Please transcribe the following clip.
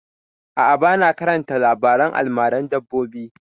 A'a, ba na karanta labaren almaran dabbobi